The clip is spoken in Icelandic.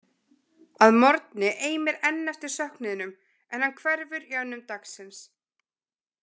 Að morgni eimir enn eftir af söknuðinum, en hann hverfur í önnum dagsins.